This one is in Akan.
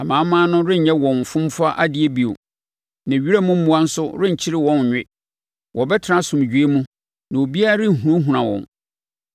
Amanaman no renyɛ wɔn fomfa adeɛ bio, na wiram mmoa nso renkyere wɔn nnwe. Wɔbɛtena asomdwoeɛ mu na obiara renhunahuna wɔn.